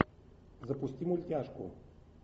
запусти мультяшку